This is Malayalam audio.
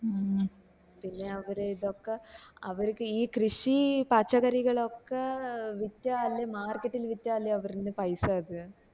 മ് പിന്നെ അവിടെ ഇതൊക്കെ അവർക്ക് ഇനി കൃഷി പച്ചച്ചക്കറികൾ ഒക്കെ വിറ്റാല് market ല് വിറ്റാലേ അവരുടെ പൈസ